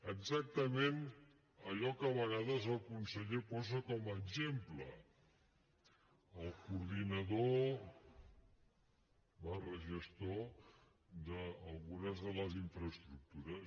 exactament allò que a vegades el conseller posa com a exemple el coordinador gestor d’algunes de les infraestructures